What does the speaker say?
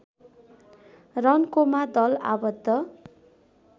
रन्कोमा दल आबद्ध